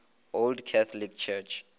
old catholic church